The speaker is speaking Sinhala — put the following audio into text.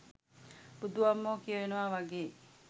බුදු අම්මෝ කියවෙනව වගේ.